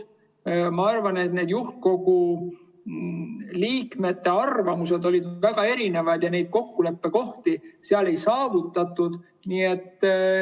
Ma arvan, et juhtkogu liikmete arvamused olid väga erinevad ja kokkuleppekohti seal ei saavutatud.